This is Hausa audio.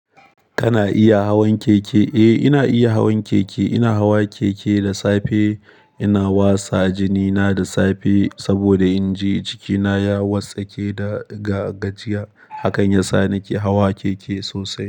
Kana iya hawan keke? Eh, ina iya hawan keke. Ina hawa keke da safe. Ina wasa jini na da safe saboda in ji cikina ya wartsake da gajiya. Hakan yasa nake hawa keke sosai.